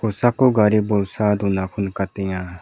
kosako gari bolsa donako nikatenga.